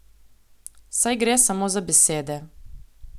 Saj gre samo za besede.